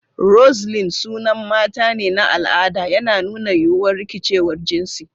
Roseline sunan mata ne na al'ada, yana nuna yiwuwar rikicewar jinsi.